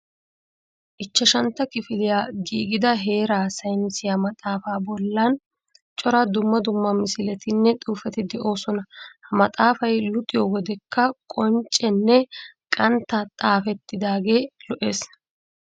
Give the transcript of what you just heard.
Ichchashantta kifiliyassi giigida heeraa saynisiya maxaafaa bollan cora dumma dumma misiletinne xuufeti de'oosona. Ha maafay luxiyo wodekka qonccenne qantta xaafettidaagee lo'ees.